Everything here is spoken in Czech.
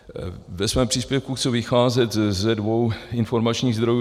Ve svém příspěvku chci vycházet ze dvou informačních zdrojů.